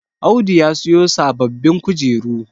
Audu ya siyo sababbin kujeru